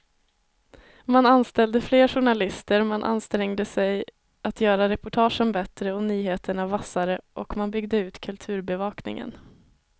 Man anställde fler journalister, man ansträngde sig att göra reportagen bättre och nyheterna vassare och man byggde ut kulturbevakningen.